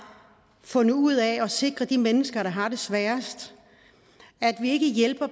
fundet ud af at sikre de mennesker der har det sværest vi hjælper